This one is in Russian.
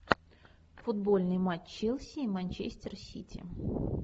футбольный матч челси и манчестер сити